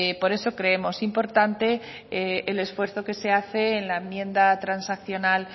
por eso creemos importante el esfuerzo que se hace en la enmienda transaccional